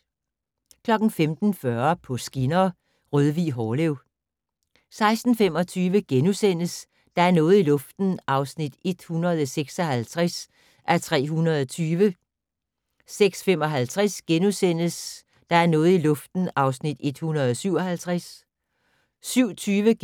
05:40: På skinner: Rødvig-Hårlev 06:25: Der er noget i luften (156:320)* 06:55: Der er noget i luften (157:320)* 07:20: